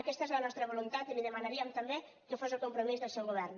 aquesta és la nostra voluntat i li demanaríem també que fos el compromís del seu govern